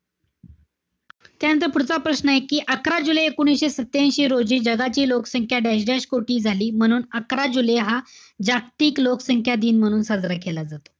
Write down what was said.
त्यानंतर पुढचा प्रश्नाय कि अकरा जुलै एकोणीशे सत्यांशी रोजी जगाची लोकसंख्या dash-dash कोटी झाली. म्हणून अकरा जुलै हा जागतिक लोकसंख्या दिन म्हणून साजरा केला जातो.